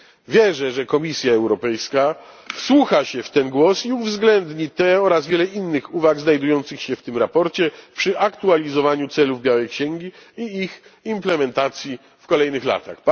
Wierzę, że Komisja Europejska wsłucha się w ten głos i uwzględni te oraz wiele innych uwag znajdujących się w tym sprawozdaniu przy aktualizowaniu celów białej księgi i ich implementacji w kolejnych latach.